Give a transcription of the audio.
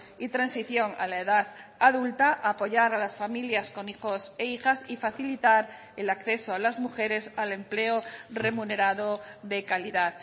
y transición a la edad adulta apoyar a las familias con hijos e hijas y facilitar el acceso a las mujeres al empleo remunerado de calidad